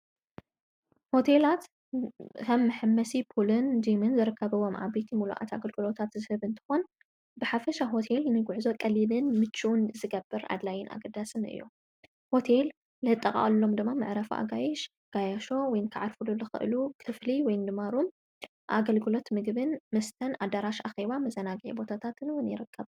ሆቴላት ኸም ሕመሲ ፑልን ዲምን ዘረከበቦ ዓበት ምሉእት ኣገልግሎታት ዝህብ እንተኾን ብሓፈሻ ሆቴል ንጕሕዞ ቐሊልን ምችውን ዝገብር ኣድላይን ኣገዳስም እዮም ሆቴል ለጠቓዓሎም ድማ መዕረፉ ኣጋይሽ ጋያሾ ወይንከዓርፍሉ ልኽእሉ ክፍሊ ወይድማሩም ኣገልግሎት ምግብን ምስተን ኣዳራሽ ኣኺዋ መዛናጊየ ቦታታ ትንውን ይረቀብ።